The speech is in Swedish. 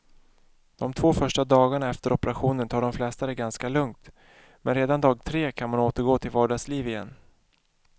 De två första dagarna efter operationen tar de flesta det ganska lugnt, men redan dag tre kan man återgå till vardagsliv igen.